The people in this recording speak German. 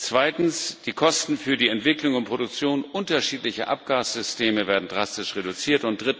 Zweitens Die Kosten für die Entwicklung und Produktion unterschiedlicher Abgassysteme werden drastisch reduziert.